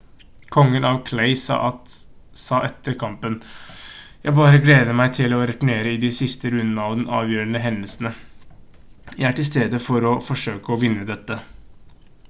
kongen av clay sa etter kampen: «jeg bare gleder meg til å returnere i de siste rundene av de avgjørende hendelsene. jeg er til stede for å forsøke å vinne dette»